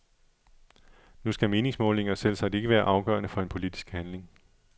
Nu skal meningsmålinger selvsagt ikke være afgørende for en politisk handling.